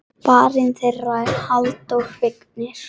Barn þeirra er Halldór Vignir.